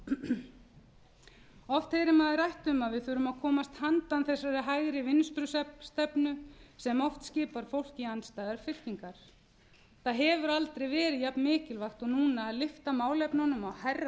oft heyrir maður rætt um að við þurfum að komast handan þessarar hægri vinstri stefnu sem oft skipar fólk í andstæðar fylkingar það hefur aldrei verið jafn mikilvægt og núna að lyfta málefnunum á hærra